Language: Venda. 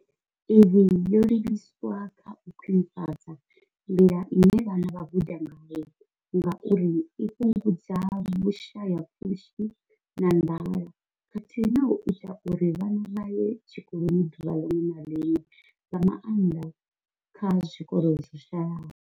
Iyi yo livhiswa kha u khwinifhadza nḓila ine vhana vha guda ngayo ngauri i fhungudza vhushayapfushi na nḓala khathihi na u ita uri vhana vha ye tshikoloni ḓuvha ḽiṅwe na ḽiṅwe, nga maanḓa kha zwikolo zwo shayaho.